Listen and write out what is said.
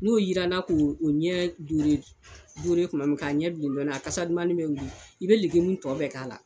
N'o jiranna k' o ɲɛ duuru tuma min k'a ɲɛ bilen dɔɔnin na a kasadumannin bɛ wuli i bɛ tɔ bɛɛ k'a la